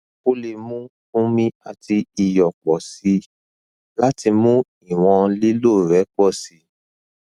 o le mu omi ati iyọ pọ si lati mu iwọn lilo rẹ pọ si